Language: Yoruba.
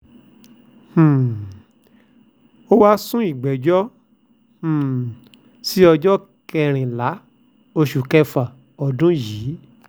um ó wáá sún ìgbẹ́jọ́ um sí ọjọ́ kẹrìnlá oṣù kẹfà ọdún yìí